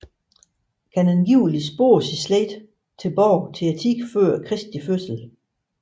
Kan angiveligt spore sin slægt tilbage til tiden før Kristi fødsel